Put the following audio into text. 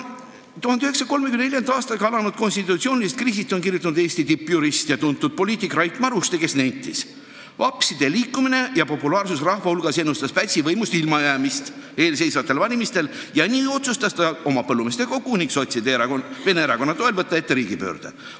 1934. aastaga alanud konstitutsioonilisest kriisist on kirjutanud Eesti tippjurist ja tuntud poliitik Rait Maruste, kes on nentinud, et vapside liikumine ja populaarsus rahva hulgas ennustas Pätsile võimust ilma jäämist eelseisvatel valimistel ja nii otsustas ta oma Põllumeestekogude ning sotside ja vene erakonna toel võtta ette riigipöörde.